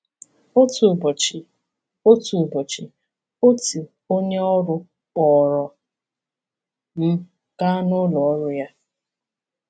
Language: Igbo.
Otu ụbọchị, Otu ụbọchị, otu onye ọrụ kpọrọ m gaa n’ụlọ ọrụ ya.